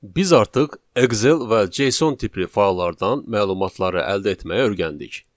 Biz artıq Excel və JSON tipli fayllardan məlumatları əldə etməyi öyrəndik.